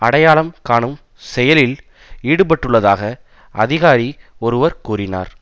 அடையாளம் காணும் செயலில் ஈடுபட்டுள்ளதாக அதிகாரி ஒருவர் கூறினார்